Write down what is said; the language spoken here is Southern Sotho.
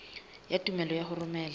ya tumello ya ho romela